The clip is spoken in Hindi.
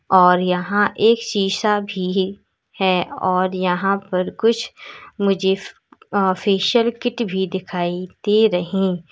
और यहां एक शीशा भी है और यहां पर कुछ मुझे ऑफिशियल किट भी दिखाई दे रहें--